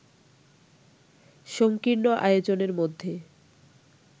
সঙ্কীর্ণ আয়োজনের মধ্যে